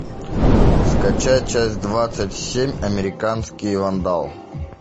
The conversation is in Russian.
скачай часть двадцать семь американский вандал